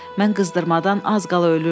Mən qızdırmadan az qala ölürdüm.